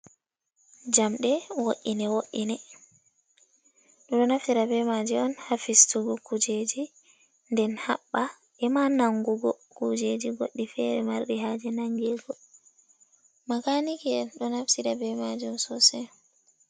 Jamɗee, wo'ine wo’ine, ɓeɗɗo naftira be maji on ha fistugo kujeji, den haɓɓa e ma nangugo kujeji goddi fere marɗi haje nangego, makaniki en ɗo naftira be majuum sosai.